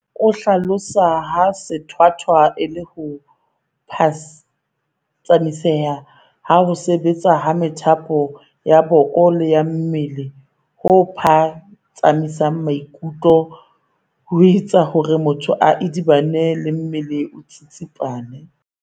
O hlalosa ha sethwathwa e le ho phatsamiseha ha ho sebetsa ha methapo ya boko le ya mmele ho phatsamisang maikutlo, ho etse hore motho a idibane mme le mmele o tsitsipane.